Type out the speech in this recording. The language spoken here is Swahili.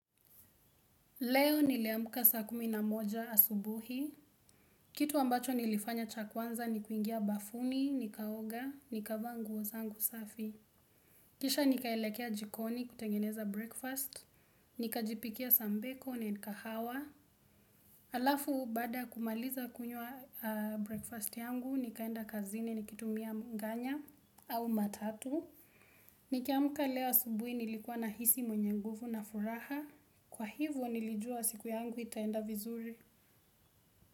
Leo niliamuka saa kumi na moja asubuhi. Kitu ambacho nilifanya cha kwanza ni kuingia bafuni, nikaoga, nikavaa nguo zangu safi. Kisha nikaelekea jikoni kutengeneza breakfast, nikajipikia sambiko and kahawa. Alafu baada ya kumaliza kunywa breakfast yangu, nikaenda kazini nikitumia nganya au matatu. Nikiamuka leo asubuhi nilikuwa nahisi mwenye nguvu na furaha. Kwa hivo nilijua siku yangu itaenda vizuri.